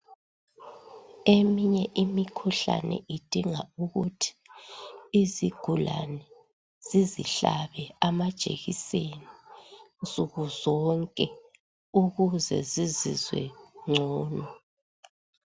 Eminye imikhuhlane idinga ukuthi izigulane zizihlabe amajekiseni nsuku zonke, ukuze zizizwe ngcono.